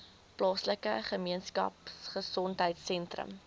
plaaslike gemeenskapgesondheid sentrum